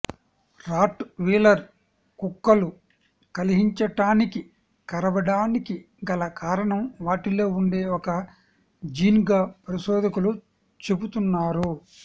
rot wheeler కుక్కలు కలహించటానికి కరవటానికిగల కారణం వాటిలో వుండే ఒక జీన్ గా పరిశోధకులు చెపుతున్నారు